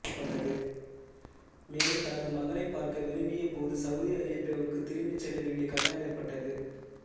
மேலும் தனது மகனைப் பார்க்க விரும்பியபோது சவுதி அரேபியாவுக்குத் திரும்பிச் செல்ல வேண்டிய கட்டாயம் ஏற்பட்டது